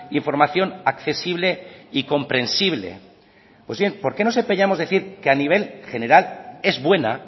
información accesible y comprensible pues bien por qué nos empeñamos en decir que a nivel general es buena